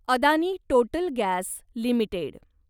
Adani total gas limited